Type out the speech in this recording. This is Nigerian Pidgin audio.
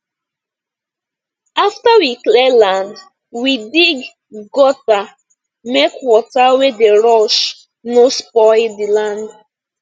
after we clear land we dig gutter make water wey dey rush no spoil the land